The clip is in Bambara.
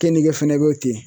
Keninge fɛnɛ be ten